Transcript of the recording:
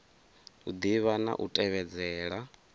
u ḓivha na u tevhedzela